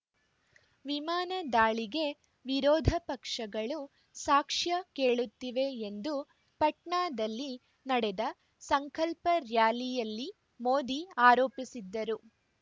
ವಿಮಾನ ದಾಳಿಗೆ ವಿರೋಧ ಪಕ್ಷಗಳು ಸಾಕ್ಷ್ಯ ಕೇಳುತ್ತಿವೆ ಎಂದು ಪಟ್ನಾದಲ್ಲಿ ನಡೆದ ಸಂಕಲ್ಪ ರ್‍ಯಾಲಿಯಲ್ಲಿ ಮೋದಿ ಅರೋಪಿಸಿದ್ದರು